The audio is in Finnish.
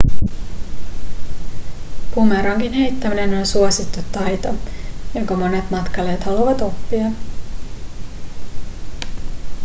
bumerangin heittäminen on suosittu taito jonka monet matkailijat haluavat oppia